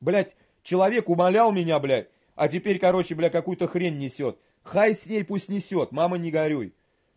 блять человек умолял меня бля а теперь короче бля какую-то хрень несёт хай с ней пусть несёт мама не горюй